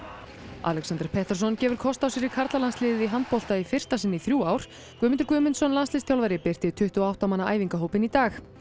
Alexander Petersson gefur kost á sér í karlalandsliðið í handbolta í fyrsta sinn í þrjú ár Guðmundur Guðmundsson landsliðsþjálfari birti tuttugu og átta manna æfingahópinn í dag